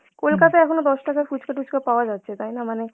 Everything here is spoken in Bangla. কলকাতায় এখনো দশ টাকার ফুচকা টুচকা পাওয়া যাচ্ছে তাই না মানে.